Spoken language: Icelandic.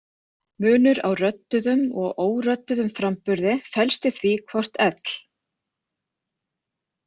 Munur á rödduðum og órödduðum framburði felst í því hvort l.